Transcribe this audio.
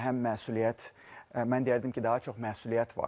Həm məsuliyyət, mən deyərdim ki, daha çox məsuliyyət var.